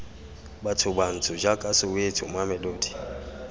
batho bantsho jaaka soweto mamelodi